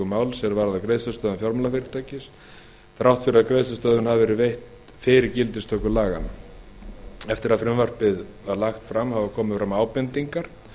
þrátt fyrir að greiðslustöðvun hafi verið veitt fyrir gildistöku laganna eftir að frumvarpið var lagt fram hafa komið fram ábendingar